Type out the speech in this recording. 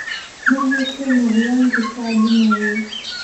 Meheshe miciwanka kaa dumayey.